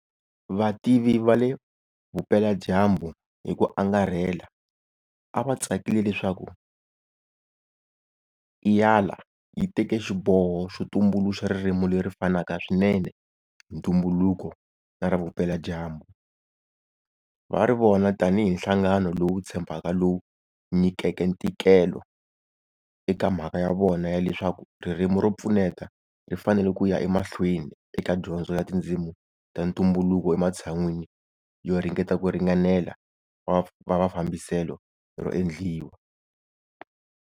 Vativi va le Vupeladyambu hi ku angarhela a va tsakile leswaku IALA yi teke xiboho xo tumbuluxa ririmi leri fanaka swinene hi ntumbuluko na ra Vupeladyambu, va ri vona tanihi nhlangano lowu tshembekaka lowu nyikeke ntikelo eka mhaka ya vona ya leswaku ririmi ro pfuneta ri fanele ku ya emahlweni eka dyondzo ya tindzimi ta ntumbuluko ematshan'wini yo ringeta ku ringanela va va fambiselo ro endliwa.